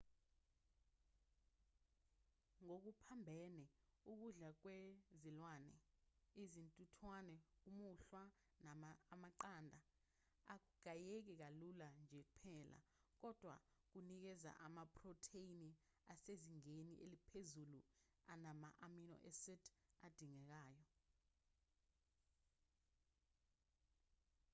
ngokuphambene ukudla kwezilwane izintuthwane umuhlwa amaqanda akugayeki kalula nje kuphela kodwa kunikeza amaphrotheni asezingeni eliphezulu anama-amino acid adingekayo